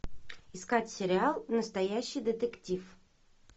искать сериал настоящий детектив